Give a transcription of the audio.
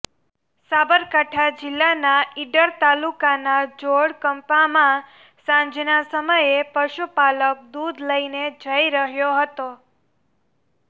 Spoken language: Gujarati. સાબરકાંઠા જીલ્લાના ઈડર તાલુકાના જોડ કંપામાં સાંજના સમયે પશુપાલક દુધ લઈને જઈ રહ્યો હતો